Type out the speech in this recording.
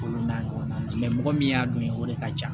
Olu n'a ɲɔgɔnnaw mɛ mɔgɔ min y'a dun ye o de ka ca